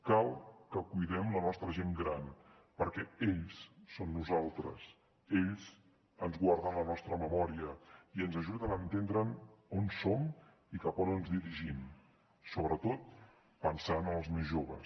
cal que cuidem la nostra gent gran perquè ells són nosaltres ells ens guarden la nostra memòria i ens ajuden a entendre on som i cap a on ens dirigim sobretot pensant en els més joves